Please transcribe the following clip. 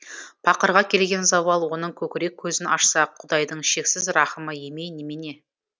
пақырға келген зауал оның көкірек көзін ашса құдайдың шексіз рахымы емей немене